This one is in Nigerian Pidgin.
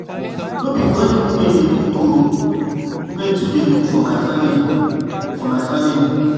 No be only women dey cook o, men too dey cook for my family for my family.